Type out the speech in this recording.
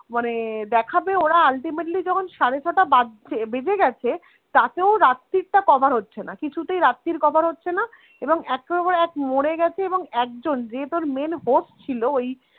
মানে দেখাবে ওরা ultimately যখন সাড়ে ছটা বাজছে বেজে গেছে, তাতেও রাত্তিরটা cover হচ্ছেনা. কিছুতেই রাত্তির cover হচ্ছেনা, এবং একের পর এক মড়ে গেছে এবং একজন যে তোর main host ছিল ওই